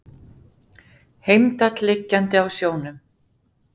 Heimdall liggjandi á sjónum.